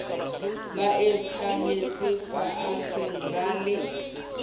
ba itahletse faatshe ba le